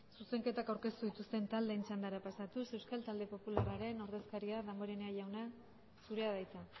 zuzenketak aurkeztu dituzten taldeen txandara pasatuz euskal talde popularraren ordezkaria damborenea jauna zurea da hitza